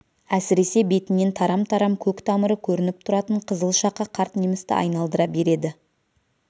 әсіресе бетінен тарам-тарам көк тамыры көрініп тұратын қызыл шақа қарт немісті айналдыра береді